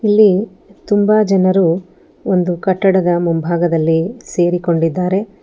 ಇಲ್ಲಿ ತುಂಬ ಜನರು ಒಂದು ಕಟ್ಟಡದ ಮುಂಭಾಗದಲ್ಲಿ ಸೇರಿಕೊಂಡಿದ್ದಾರೆ.